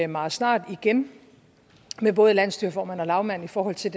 meget snart igen med både landsstyreformanden og lagmanden i forhold til